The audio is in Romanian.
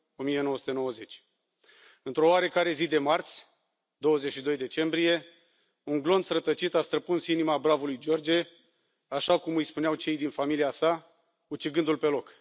1990. Într o oarecare zi de marți, 22 decembrie, un glonț rătăcit a străpuns inima bravului George, așa cum îi spuneau cei din familia sa, ucigându l pe loc.